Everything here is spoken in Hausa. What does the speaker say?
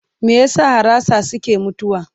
Me ya sa harasa suke mutuwa?